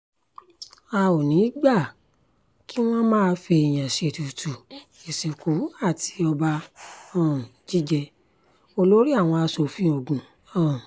a ò ní í gbà kí wọ́n máa fẹ́ẹ̀yàn ṣètùtù ìsìnkú àti ọba um jíjẹ- olórí àwọn asòfin ogun um